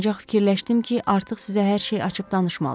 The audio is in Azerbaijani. Ancaq fikirləşdim ki, artıq sizə hər şeyi açıb danışmalıyam.